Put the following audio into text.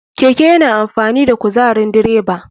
Keke yana amfani da kuzarin direba.